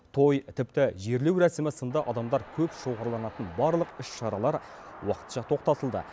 той тіпті жерлеу рәсімі сынды адамдар көп шоғырланатын барлық іс шаралар уақытша тоқтатылды